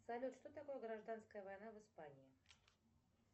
салют что такое гражданская война в испании